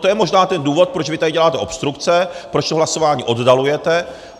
To je možná ten důvod, proč vy tady děláte obstrukce, proč to hlasování oddalujete.